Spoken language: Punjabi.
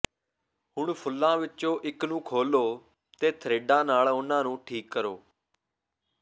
ਹੁਣ ਫੁੱਲਾਂ ਵਿੱਚੋਂ ਇੱਕ ਨੂੰ ਖੋਲ੍ਹੋ ਅਤੇ ਥਰਿੱਡਾਂ ਨਾਲ ਉਹਨਾਂ ਨੂੰ ਠੀਕ ਕਰੋ